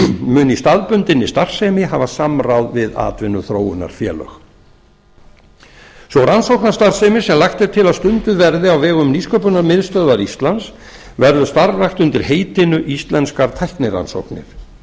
mun í staðbundinni starfsemi hafa samráð við atvinnuþróunarfélög sú rannsóknastarfsemi sem lagt er til að stunduð verði á vegum nýsköpunarmiðstöðvar íslands verður starfrækt undir heitinu íslenskar tæknirannsóknir